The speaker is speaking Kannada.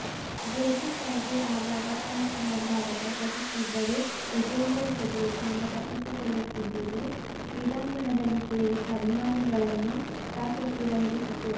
ಜುಲ್ಫಿಕರ್ಗೆ ಆಗಾಗ ಪಂಚ್ ಮಾಡುವ ಅವಕಾಶ ಸಿಕ್ಕಿದ್ದರೂ ವಿಜೇಂದರ್ ಚತುರತೆಯಿಂದ ತಪ್ಪಿಸಿಕೊಳ್ಳುತ್ತಿದ್ದುದು ಕ್ರೀಡಾಂಗಣದಲ್ಲಿ ಸೇರಿದ್ದ ಅಭಿಮಾನಿಗಳನ್ನು ಸಾಕಷ್ಟು ರಂಜಿಸಿತು